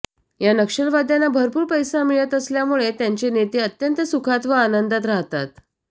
या नक्षलवाद्यांना भरपूर पैसा मिळत असल्यामुळे त्यांचे नेते अत्यंत सुखात व आनंदात राहतात